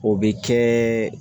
O bɛ kɛ